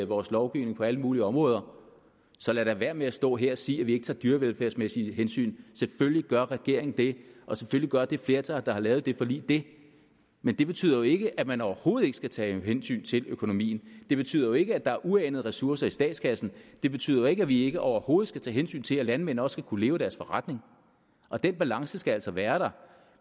vores lovgivning på alle mulige områder så lad dog være med at stå her og sige at vi ikke tager dyrevelfærdsmæssige hensyn selvfølgelig gør regeringen det og selvfølgelig gør det flertal der har lavet det forlig det men det betyder jo ikke at man overhovedet ikke skal tage hensyn til økonomien det betyder jo ikke at der er uanede ressourcer i statskassen det betyder jo ikke at vi ikke overhovedet skal tage hensyn til at landmænd også skal kunne leve af deres forretning den balance skal altså være der